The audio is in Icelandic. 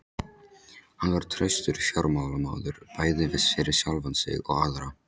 Hann var traustur fjármálamaður bæði fyrir sjálfan sig og aðra.